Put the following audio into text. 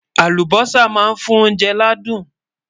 Àlùbósà má ń fún oúnjẹ ládùn